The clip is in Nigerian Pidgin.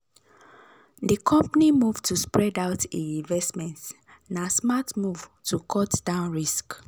di company move to spread out e investments na smart move to cut down risk.